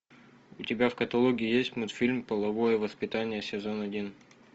у тебя в каталоге есть мультфильм половое воспитание сезон один